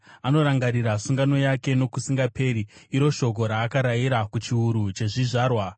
Anorangarira sungano yake nokusingaperi, iro shoko raakarayira, kuchiuru chezvizvarwa,